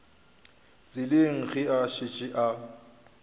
tseleng ge a šetše a